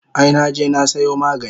Ai naje na sayo magani